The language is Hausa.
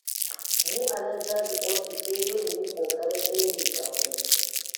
Mu a nan caji ofis sai dai mu yi ƙoƙarin daidaita ku.